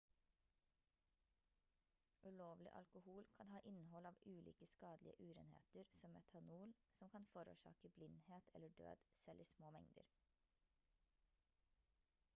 ulovlig alkohol kan ha innhold av ulike skadelige urenheter som metanol som kan forårsake blindhet eller død selv i små mengder